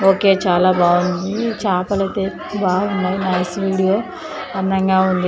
Okay చాలా బాగుంది చాపలతో బాగున్నాయి నైస్ వీడియో అందంగా ఉంది.